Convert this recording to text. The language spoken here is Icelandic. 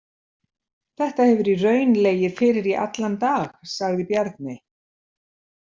Þetta hefur í raun legið fyrir í allan dag, sagði Bjarni.